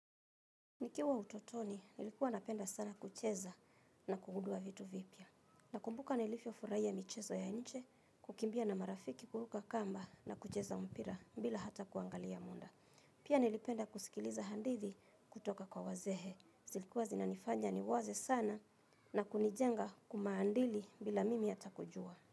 Nikiwa utotoni, nilikuwa napenda sana kucheza na kugundua vitu vipya. Nakumbuka nilivyofuraia michezo ya nje, kukimbia na marafiki kuruka kamba na kucheza mpira bila hata kuangalia muda. Pia nilipenda kusikiliza handithi kutoka kwa wazee. Zilikuwa zinanifanya niwaze sana na kunijenga kimaandili bila mimi hata kujua.